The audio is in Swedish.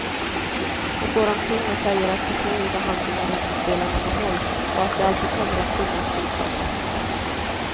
Och går omkring och säger att personliga handlingar inte spelar någon roll, och att det alltid kommer att finnas rika och fattiga.